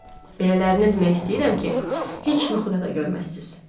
Belələrini demək istəyirəm ki, heç yuxuda da görməzsiniz.